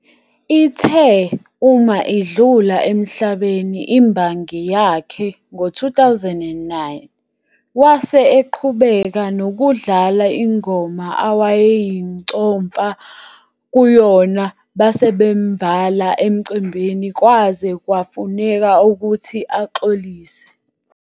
Ithe uma idlula emhlabeni imbangi yakhe ngo-2009 wase eqhubeka nokudlala ingoma awayeyincomfa kuyona basebemvala emicimbini kwaze kwafuneka ukuthi axolise.